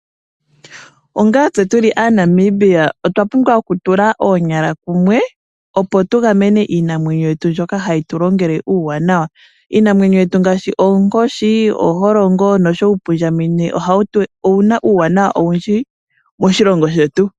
Onga tse tuli aaNamibia otwa pumbwa okutula oonyala kumwe opo tugamene iinamwenyo yetu mbyoka hayi tulongele uuwanawa. Iinamwenyo yetu ngaashi oonkoshi, oholongo noshowo uupundjamenye, owuna uuwanawa owundji moshilongo shetu.